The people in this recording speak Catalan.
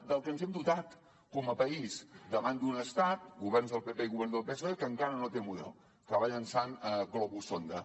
del què ens hem dotat com a país davant d’un estat governs del pp i govern del psoe que encara no té model que va llançant globus sonda